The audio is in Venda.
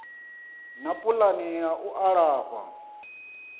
na pulani ya u alafha